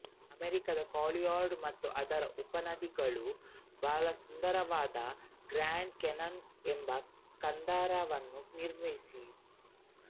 ಅಮೆರಿಕದ ಕಾಲರ್ಯಾಡೋ ಮತ್ತು ಅದರ ಉಪನದಿಗಳು ಬಲುಸುಂದರವಾದ ಗ್ರ್ಯಾಂಡ್ ಕಾನ್ಯಾನ್ ಎಂಬ ಕಂದರವನ್ನು ನಿರ್ಮಿಸಿವೆ